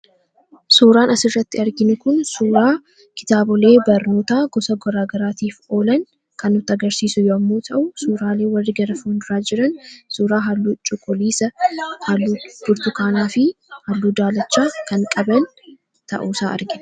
Suuraan asirratti arginu kun, suuraa kitaabolee barnootaa gosa garagaraatiif oolan kan nutti agarsiisu yommuu ta'u suuraaleen warri gara fuulduraa jiran suuraa halluu cuquliisa, halluu burtukaanaafi halluu daalacha kan qaban ta'uusaa argina.